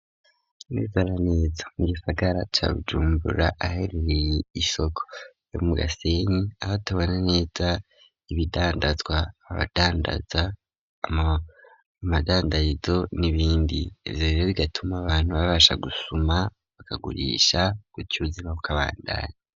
Neza na neza mu gisagara ca bjumbura ahaherereye isoko yo mu gasenyi, aho tubona neza ibidandazwa, abadandaza, amadandarizo, n'ibindi ivyo rero bigatuma abantu babasha gusuma bakagurisha gutyo uzima bukabandanya.